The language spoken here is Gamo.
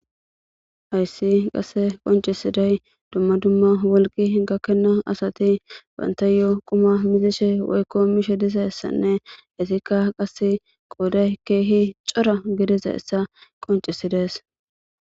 hayssi qasse qoncisiday dumma dumma wolqi gakkenna asati bantayo quma mizishe woykko mishe diza ssanne hesikka qase qooday keehi cora gidiza essa qoncisidees